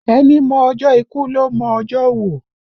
Ẹni mọ ọjọ́ ikú ló mọ ọjọ́ òwò